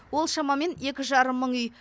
ол шамамен екі жарым мың үй